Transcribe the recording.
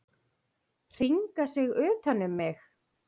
Hringa sig utan um mig.